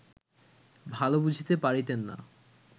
ভাল বুঝিতে পারিতেন না